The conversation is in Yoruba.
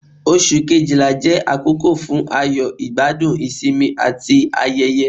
Ọ̀sù Kejìlá jẹ àkókò fún ayọ̀, igbadun, isinmi ati ayẹ̀yẹ̀,